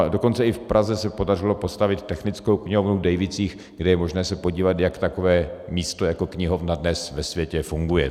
A dokonce i v Praze se podařilo postavit Technickou knihovnu v Dejvicích, kde je možné se podívat, jak takové místo jako knihovna dnes ve světě funguje.